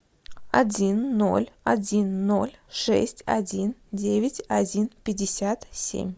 один ноль один ноль шесть один девять один пятьдесят семь